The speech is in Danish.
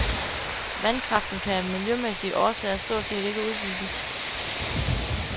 Vandkraften kan af miljømæssige årsager stort set ikke udbygges.